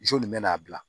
nin bɛ n'a bila